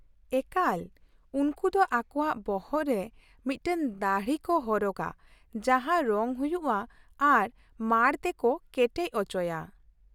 ᱮᱠᱟᱞ ! ᱩᱱᱠᱩ ᱫᱚ ᱟᱠᱚᱣᱟᱜ ᱵᱚᱦᱚᱜ ᱨᱮ ᱢᱤᱫᱴᱟᱝ ᱫᱟᱹᱲᱦᱤ ᱠᱚ ᱦᱚᱨᱚᱜᱟ ᱡᱟᱦᱟᱸ ᱨᱚᱝ ᱦᱩᱭᱩᱜᱼᱟ ᱟᱨ ᱢᱟᱲ ᱛᱮᱠᱚ ᱠᱮᱴᱮᱡ ᱚᱪᱚᱭᱟ ᱾